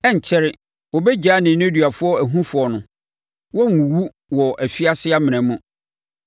Ɛrenkyɛre, wɔbɛgyaa nneduafoɔ ahufoɔ no; wɔrenwuwu wɔ afiase amena mu, na aduane remmɔ wɔn.